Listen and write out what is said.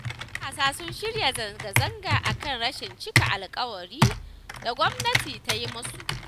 Wasu jami'an 'yan sanda sun ci zarafin wani dattijo a maraba.